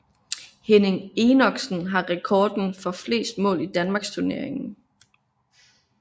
Henning Enoksen har rekorden for flest mål i Danmarksturneringen